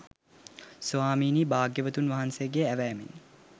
ස්වාමීනී භාග්‍යවතුන් වහන්සේගේ ඇවෑමෙන්